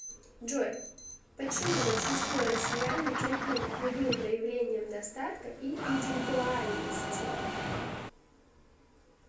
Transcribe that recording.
джой почему большинство россиян нетерпимы к любым проявлениям достатка и индивидуальности